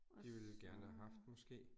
Og så